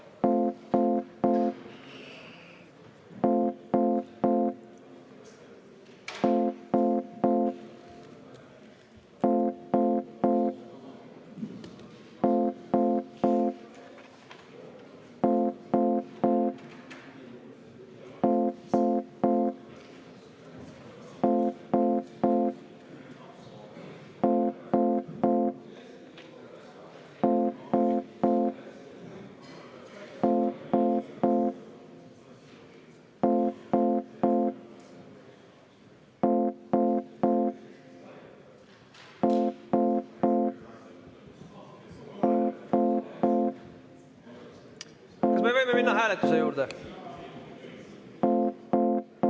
Kas me võime minna hääletuse juurde?